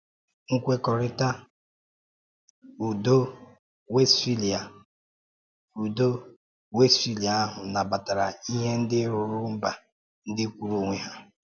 Nkwekọrịtà Ùdò Wéstphália Ùdò Wéstphália ahụ nabatàrà ihe ndị rùrù mba ndị kwụụrụ onwe ha.